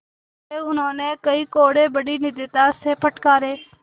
अतएव उन्होंने कई कोडे़ बड़ी निर्दयता से फटकारे